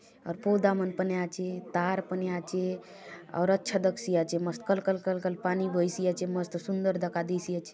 आउर पौधा मन पने आचे तार पने आचे आउर अच्छा दखसि आचे मस्त कल कल कल कल पानी बहसि आचे मस्त सुन्दर दखा देयसि आचे।